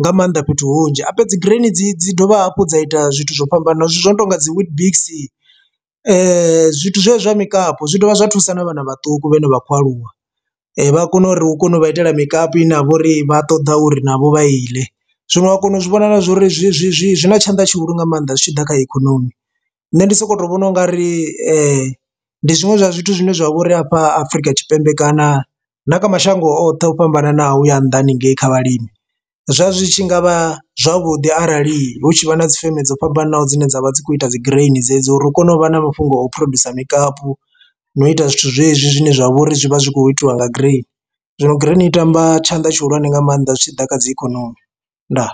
nga maanḓa fhethu hunzhi. Habe dzi graini dzi dzi dovha hafhu dza ita zwithu zwo fhambananaho zwithu zwo no tonga dzi weetbix zwithu zwe zwa mikapu zwi dovha zwa thusa na vhana vhaṱuku vhane vhakho aluwa vha kone uri hu kone u vha itela mikapu ine ha vha uri vha ṱoḓa uri navho vha i ḽe, zwino ha kona u zwi vhona zwori zwi zwi zwi zwina tshanḓa tshi hulu nga maanḓa zwi tshi ḓa kha ikonomi. Nṋe ndi soko vhona ungari ndi zwiṅwe zwa zwithu zwine zwa vhori afha Afrika Tshipembe kana na kha mashango oṱhe o fhambananaho ya nnḓa haningei kha vhalimi, zwa zwi tshi ngavha zwavhuḓi arali hu tshi vha na dzi feme dzo fhambananaho dzine dzavha dzi kho ita dzi graini dzedzi uri hu kone u vha na mafhungo a u phurodzhusa mikapu no u ita zwithu zwezwi zwine zwa vhori zwi vha zwi kho itiwa nga grain. Zwino grain i tamba tshanḓa tshi hulwane nga maanḓa zwi tshi ḓa kha dzi ikonomi, ndaa.